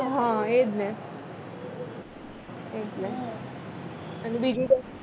હ એ જ ને એટલે અને બીજું કઈ